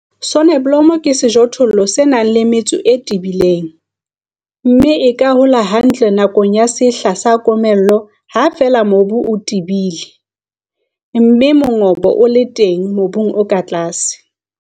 Soneblomo ke sejothollo se nang le metso e tebileng, mme e ka hola hantle nakong ya sehla sa komello ha feela mobu o tebile, mme mongobo o le teng mobung o ka tlase.